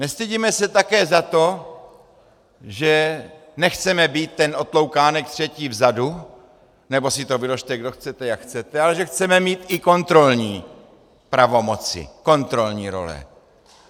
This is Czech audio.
Nestydíme se také za to, že nechceme být ten otloukánek, třetí vzadu, nebo si to vyložte, kdo chcete, jak chcete, ale že chceme mít i kontrolní pravomoci, kontrolní role.